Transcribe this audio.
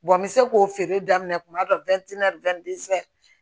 n bɛ se k'o feere daminɛ tuma dɔ